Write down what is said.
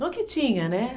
Não que tinha, né?